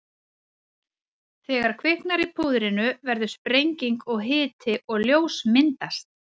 Þegar kviknar í púðrinu verður sprenging og hiti og ljós myndast.